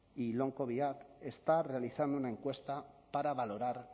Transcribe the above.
y long covid acts está realizando una encuesta para valorar